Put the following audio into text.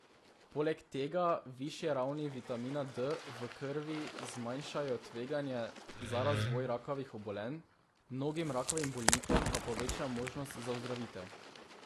Poleg tega višje ravni vitamina D v krvi zmanjšajo tveganje za razvoj rakavih obolenj, mnogim rakavim bolnikom pa poveča možnosti za ozdravitev.